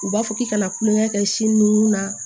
U b'a fɔ k'i kana kulonkɛ kɛ sin nunun na